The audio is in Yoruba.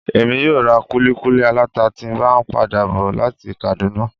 Emi yóò ra kuli kuli alata tí n ba pada bọ lati Kaduna